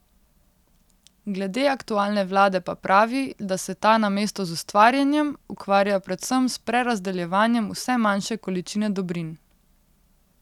Glede aktualne vlade pa pravi, da se ta namesto z ustvarjanjem ukvarja predvsem s prerazdeljevanjem vse manjše količine dobrin.